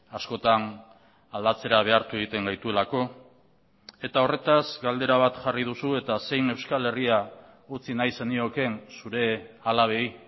askotan aldatzera behartu egiten gaituelako eta horretaz galdera bat jarri duzu eta zein euskal herria utzi nahi zeniokeen zure alabei